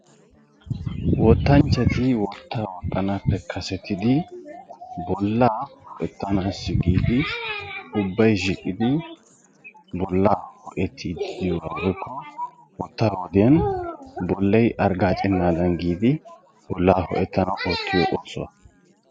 wottanchati wotaa woxxanaappe kassetidi ubbay shiiqidi bolaa hoe'etiidi diyogaanne bolay hargaacennaadan diyoogaa besees.